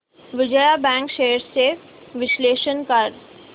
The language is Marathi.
विजया बँक शेअर्स चे विश्लेषण कर